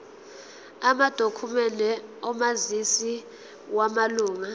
amadokhumende omazisi wamalunga